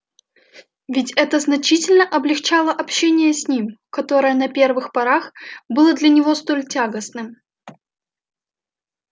ведь это значительно облегчало общение с ним которое на первых порах было для него столь тягостным